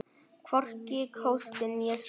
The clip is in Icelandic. Hvorki hósti né stuna.